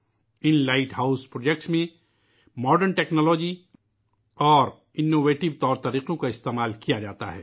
ان lighthouse projects میں جدید technology اور جدید طریقے استعمال کئے جاتے ہیں